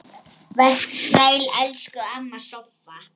Vertu sæl, elsku amma Soffa.